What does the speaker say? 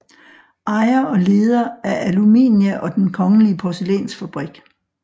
Ejer og leder af Aluminia og Den kongelige Porcelainsfabrik